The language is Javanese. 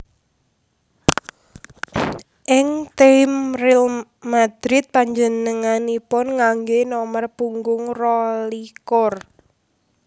Ing tim Real Madrid panjenenganipun nganggé nomer punggung rolikur